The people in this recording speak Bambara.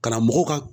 Karamɔgɔw ka